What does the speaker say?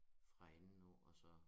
Fra enden af og så